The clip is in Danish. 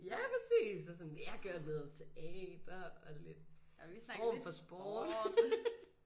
Ja præcis og sådan vi har kørt noget teater og lidt form for sport